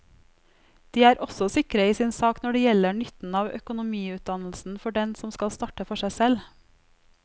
De er også sikre i sin sak når det gjelder nytten av økonomiutdannelsen for den som skal starte for seg selv.